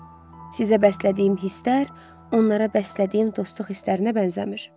Sizə bəslədiyim hisslər onlara bəslədiyim dostluq hislərinə bənzəmir.